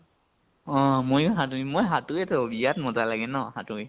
অ অ অ ময়ো সাঁতুৰিম, মই সাঁতুৰো বিৰাত মজ্জা লাগে ন সাঁতুৰি?